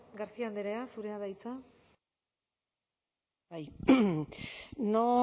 garcia andrea zurea da hitza bai no